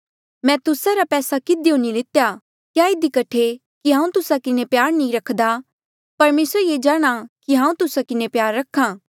मैं तुस्सा रा पैसा किधियो नी लितेया क्या इधी कठे कि हांऊँ तुस्सा किन्हें प्यार नी रखदा परमेसर ये जाणहां कि हांऊँ तुस्सा किन्हें प्यार रखा